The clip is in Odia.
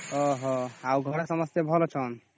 ଓହୋ ଆଉ ଘରେ ସବୁ ଭଲ ଅଛନ୍ତି